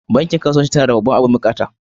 Bankin kasuwanci ta na da babban abin buƙata.